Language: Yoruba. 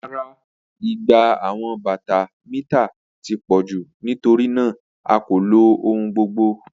Rara, igba awọn bata mita ti pọ ju nitorinaa a ko lo ohun gbogbo.